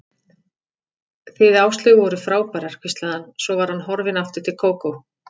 Þið Áslaug voruð frábærar hvíslaði hann, svo var hann horfinn aftur til Kókó.